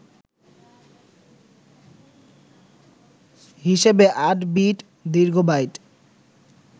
হিসেবে ৮ বিট দীর্ঘ বাইট